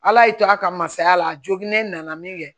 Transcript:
Ala y'i to a ka masaya la a joginnen nana min kɛ